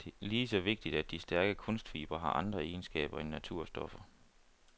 Det er lige så vigtigt, at de stærke kunstfibre har andre egenskaber end naturstoffer.